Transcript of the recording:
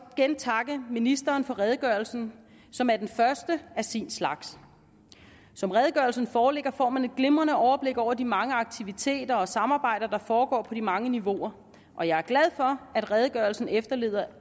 igen takke ministeren for redegørelsen som er den første af sin slags som redegørelsen foreligger får man et glimrende overblik over de mange aktiviteter og samarbejder der foregår på de mange niveauer og jeg er glad for at redegørelsen efterlader